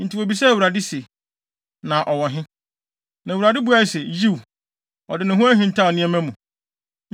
Enti wobisaa Awurade se, “Na ɔwɔ he?” Na Awurade buae se, “Yiw, ɔde ne ho ahintaw nneɛma mu.”